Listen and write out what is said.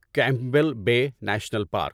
Campbell Bay National park